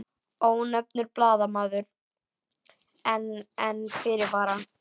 Ónefndur blaðamaður: En, en fyrirvara?